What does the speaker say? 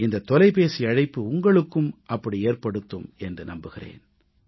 இந்த தொலைபேசி அழைப்பு உங்களுக்கும் அப்படி ஏற்படுத்தும் என்று நம்புகிறேன்